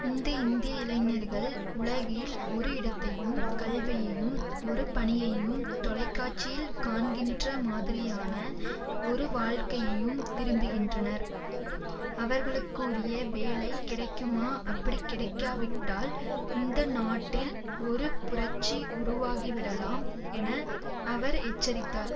இந்த இந்திய இளைஞர்கள் உலகில் ஒரு இடத்தையும் கல்வியையும் ஒரு பணியையும் தொலைக்காட்சியில் காண்கின்ற மாதிரியான ஒரு வாழ்க்கையையும் விரும்புகின்றனர் அவர்களுக்குரிய வேலை கிடைக்குமா அப்படி கிடைக்காவிட்டால் இந்த நாட்டில் ஒரு புரட்சி உருவாகிவிடலாம் என அவர் எச்சரித்தார்